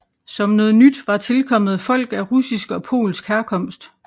Som noget nyt var tilkommet folk af russisk og polsk herkomst